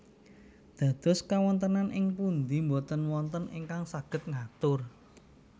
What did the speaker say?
Dados kawontenan ing pundi boten wonten ingkang saged ngatur